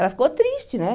Ela ficou triste, né?